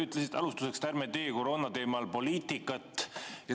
Ütlesite alustuseks, et ärme teeme koroonateema arutamisel poliitikat.